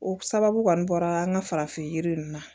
O sababu kɔni bɔra an ka farafin yiri ninnu na